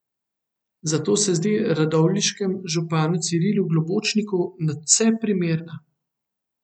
Zato se zdi radovljiškemu županu Cirilu Globočniku nadvse primerna.